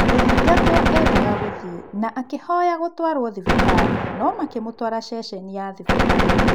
Mũthitangwo endaga gũthiĩ na akĩhoya gũtwarũo thibitarĩ no makĩmũtwara ceceni ya thibitari.